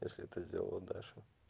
если это сделала даша